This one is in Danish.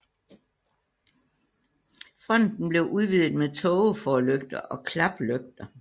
Fronten blev udvidet med tågeforlygter og klaplygter